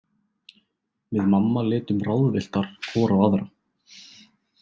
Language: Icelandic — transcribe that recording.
Við mamma litum ráðvilltar hvor á aðra.